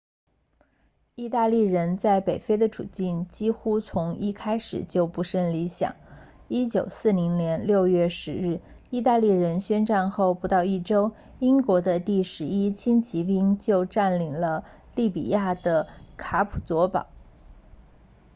意大利人在北非的处境几乎从一开始就不甚理想1940年6月10日意大利宣战后不到一周英国第11轻骑兵就占领了利比亚的卡普佐堡